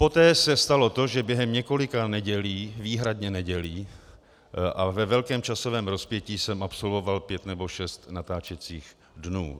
Poté se stalo to, že během několika nedělí, výhradně nedělí, a ve velkém časovém rozpětí jsem absolvoval pět nebo šest natáčecích dnů.